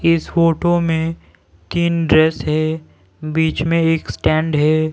इस फोटो में तीन ड्रेस है बीच में एक स्टैंड है।